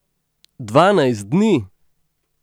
Dvanajst dni!